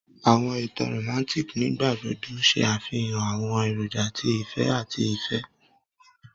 Awọn itan Romantic nigbagbogbo ṣe afihan awọn eroja ti ifẹ ati ifẹ